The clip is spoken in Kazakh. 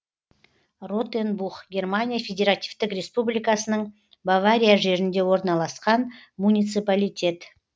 ротенбух германия федеративтік республикасының бавария жерінде орналасқан муниципалитет